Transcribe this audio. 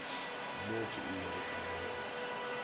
mo ke ilego ka bona